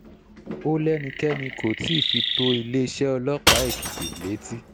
ó lẹ́nikẹ́ni kó tí ì fi tó iléeṣẹ́ ọlọ́pàá èkìtì létí